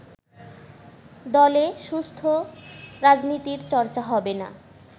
দলে সুস্থ রাজনীতির চর্চা হবে না